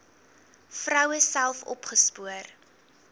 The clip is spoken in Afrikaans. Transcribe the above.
vroue self opgespoor